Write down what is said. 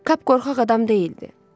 Kap qorxaq adam deyildi.